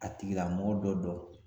A tigilamɔgɔ bɛ dɔ.